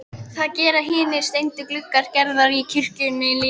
Það gera hinir steindu gluggar Gerðar í kirkjunni líka.